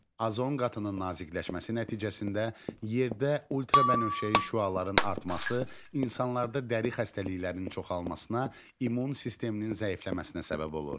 Azon qatının nazikləşməsi nəticəsində yerdə ultrabənövşəyi şüaların artması insanlarda dəri xəstəliklərinin çoxalmasına, immun sisteminin zəifləməsinə səbəb olur.